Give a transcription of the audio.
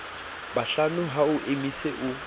bohlano ha o emise o